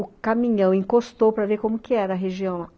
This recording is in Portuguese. O caminhão encostou para ver como que era a região lá.